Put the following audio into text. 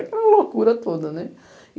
Aquela loucura toda, né?